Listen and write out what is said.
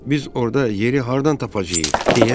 Biz orada yeri hardan tapacağıq?